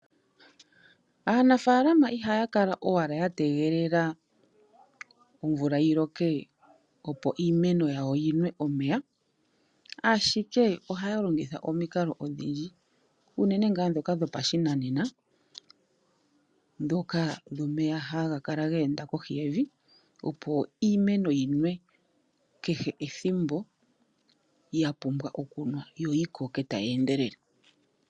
Aanafaalama ihaya kala owala yategelela omvula yiloke opo iimeno yawo yinwe omeya ashike ohaya longitha omikalo odhindji dhoka dhopashinanena, dhoka dhomeya haga kala geenda kohi yevi opo iimeno yinwe kehe ethimbo yi wa pe okunwa, yo koke tayi endelele.